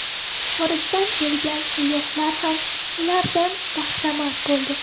Xorijdan kelgan sayyohlar ham ulardan bahramand bo‘ldi.